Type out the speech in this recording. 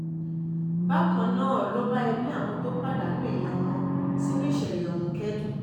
bákan um náà ló bá ẹbí àwọn tó pàdánù èèyàn wọn sínú ìṣẹ̀lẹ̀ ọ̀hún um kẹ́dùn